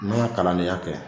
N'o ye kalandeya kɛ